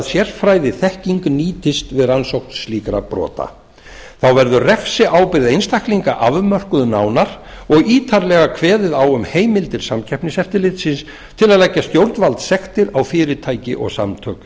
sérfræðiþekking nýtist við rannsókn slíkra brota þá verður refsiábyrgð einstaklinga afmörkuð nánar og ítarlega kveðið á um heimildir samkeppniseftirlitsins til að leggja stjórnvaldssektir á fyrirtæki og samtök